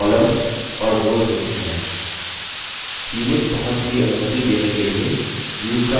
सीमित पहुँच की अनुमति देने के लिए views का इस्तेमाल कर सकते हैं